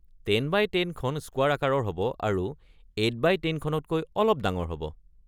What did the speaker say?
১০x১০ খন স্কুৱাৰ আকাৰৰ হ’ব আৰু ৮x১০ খনতকৈ অলপ ডাঙৰ হ’ব।